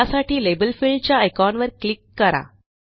त्यासाठी label field च्या आयकॉनवर क्लिक करा